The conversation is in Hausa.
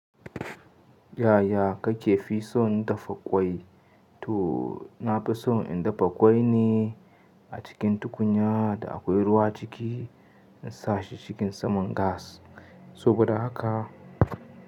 Yaya kake fi son dafa ƙwai? To, na fi son in dafa ƙwai ne a cikin tukunya da akwai ruwa ciki in sa shi cikin saman gas. Saboda haka.